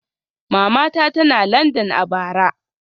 Matata tana Landan a bara